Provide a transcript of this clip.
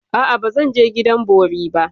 A'a, ba zan je gidan bori ba.